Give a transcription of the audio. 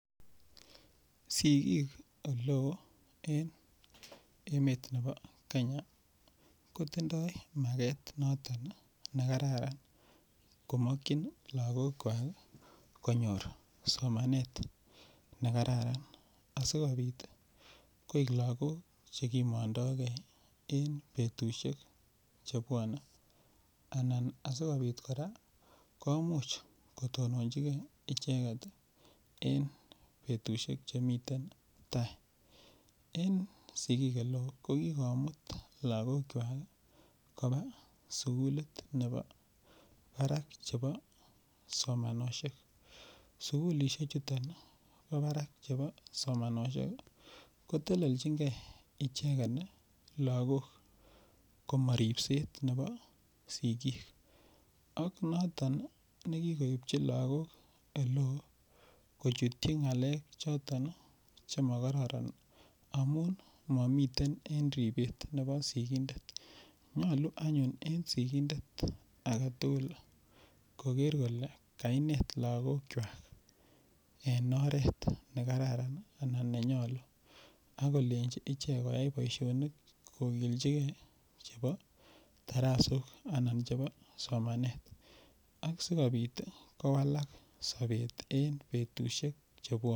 sigiik oleoo en emet nebo kenya, kotindoo mageet noton iih negararan komokyiin lagook kwaak konyoor somanet negararan asigobiit koek lagook chegimondoo gee en betushek chebwone, anan asigobiit koraa kotononchigee icheget iih en betushek chemiten tai. En sigiik oleeoo kogigomuut lagook kwaak iih koba sugulit nebo baraak chebo somanoshek, sugulishek chuton bo baraak chebo somanoshek kotelelchingee icheget lagook komoribseet nebo sigiik ak noton negigoibchi lagook olee kochutyi ngaleek choton iih chemogororon amuun momiten en ribeet nebo sigindet, nyolu anyuun en sigindet agetul kogeer kole kaineet lagook kwaak en oreet negararan anan nenyolu ak kolenchi ichek koyaai boishonik kogilchigee chebo taraasook anan chebo somaneet, asigobiit iih kowalaak sobeet en betushek chebwone.